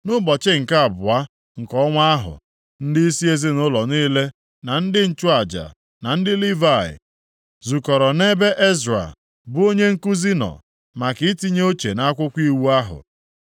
Nʼụbọchị nke abụọ nke ọnwa ahụ, ndịisi ezinaụlọ niile na ndị nchụaja, na ndị Livayị, zukọrọ nʼebe Ezra, bụ onye nkuzi nọ, maka itinye uche nʼakwụkwọ iwu ahụ.